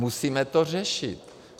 Musíme to řešit.